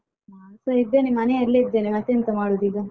ನಾನ್ಸ ಇದ್ದೇನೆ ಮನೆಯಲ್ಲೇ ಇದ್ದೆನೆ ಮತ್ತೆಂತ ಮಾಡುದು ಈಗ?